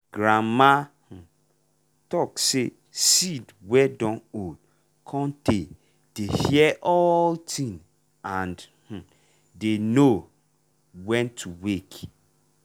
grandma um talk say seed wey dun old cun tay dey hear all thing and um dem know um when to wake.